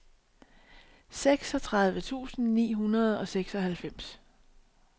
seksogtredive tusind ni hundrede og seksoghalvfems